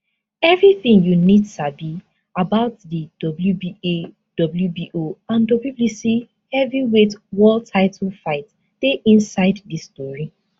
evritin you need sabi about di wba wbo and wbc heavyweight world title fight dey inside dis tori